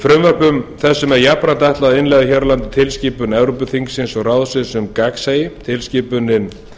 frumvörpum þessum er jafnframt ætlað að innleiða hér á landi tilskipun evrópuþingsins og ráðsins um gagnsæi tilskipunin